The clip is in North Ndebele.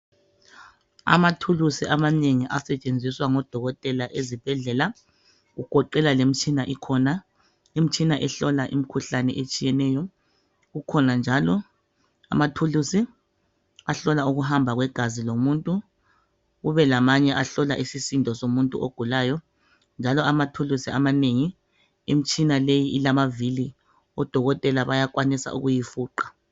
amathulusi amanengi asetshenziswa ngodokotela lemitshina ehlola imikhuhlane etshiyeneyo kukhona njalo amathuluszi ahlola ukuhamba kwegazi lomuntu kube lomunye ohlola isisindo somuntu njalo amathulusi amanengi imitshina le ilamavili odokotel bayakwanisa ukuyifuqa